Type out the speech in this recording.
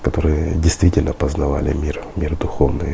которые действительно познавали мир мир духовный